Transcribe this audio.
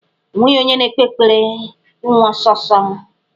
O nweghi onye na-ekpe ekpere ịnwụ ọsọ ọsọ.